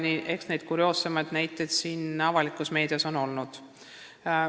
Eks neid kurioossemaid näiteid meedias ole olnud.